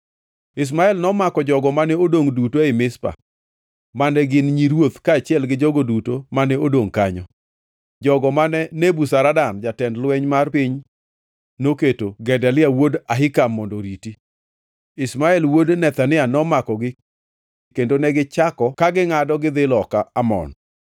Ishmael nomako jogo mane odongʼ duto ei Mizpa mane gin nyi ruoth kaachiel gi jogo duto mane odongʼ kanyo, jogo mane Nebuzaradan jatend lweny mar piny noketo Gedalia wuod Ahikam mondo oriti. Ishmael wuod Nethania nomakogi kendo negichako ka gingʼado gidhi loka Amon.